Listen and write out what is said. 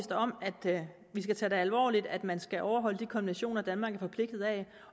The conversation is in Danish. om at vi skal tage det alvorligt at man skal overholde de konventioner danmark er forpligtet af